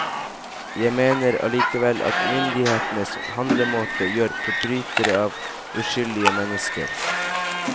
Jeg mener allikevel at myndighetenes handlemåte gjør forbrytere av uskyldige mennesker.